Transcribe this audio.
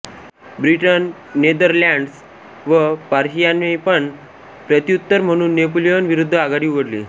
Britain Netherlands व पर्शियानेपण प्रत्युतर म्हणून नेपोलियन विरुद्ध आघाडी उघडली